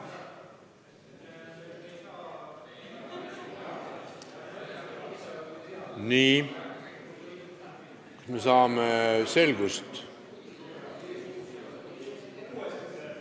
Nii, saame selgust!